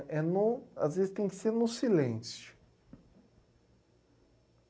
É no. Às vezes tem que ser no silêncio.